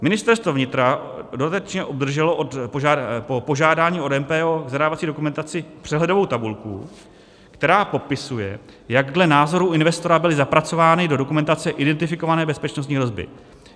Ministerstvo vnitra dodatečně obdrželo po požádání od MPO v zadávací dokumentaci přehledovou tabulku, která popisuje, jak dle názoru investora byly zapracovány do dokumentace identifikované bezpečnostní hrozby.